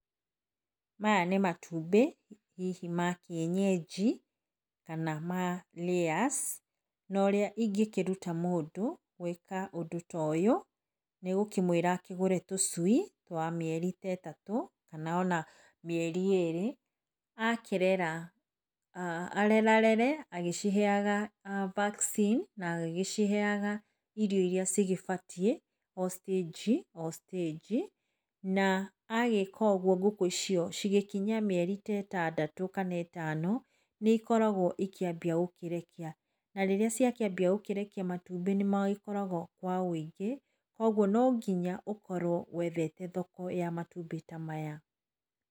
Maya nĩ matumbĩ hihi ma kĩenyenji kana ma layers ũrĩa ingĩruta mũndũ gwĩka ũndũ ta ũyũ nĩ gwũkĩmwĩra agũre tũcui twa mĩeri ĩtatũ kana ona mĩeri ĩrĩ akĩrera ,arerarere,a vaccine agĩciheaga irio irĩa cigĩbatiĩ o stage o stage na agĩka oguo ngũkũ icio cia kinya ta mĩeri ĩtandatũ kana ĩtano nĩ ĩikaragwo ciakĩambia gũkĩrekia na rĩrĩa ciakĩambia gũkĩrekia matumbĩ nĩ makoragwo me maingĩ koguo no nginya ũkorwo wethete thoko ya matumbĩ maya.